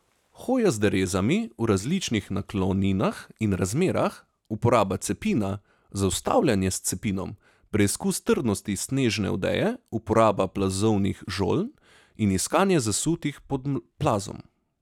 Hoja z derezami v različnih nakloninah in razmerah, uporaba cepina, zaustavljanje s cepinom, preizkus trdnosti snežne odeje, uporaba plazovnih žoln in iskanje zasutih pod plazom.